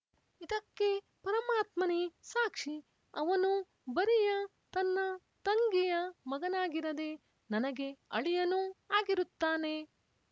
ಇದಕ್ಕೆ ಪರಮಾತ್ಮನೇ ಸಾಕ್ಷಿ ಅವನು ಬರಿಯ ತನ್ನ ತಂಗಿಯ ಮಗನಾಗಿರದೆ ನನಗೆ ಅಳಿಯನೂ ಆಗಿರುತ್ತಾನೆ